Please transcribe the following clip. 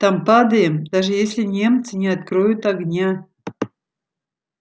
там падаем даже если немцы не откроют огня